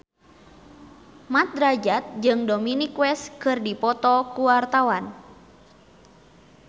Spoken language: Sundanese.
Mat Drajat jeung Dominic West keur dipoto ku wartawan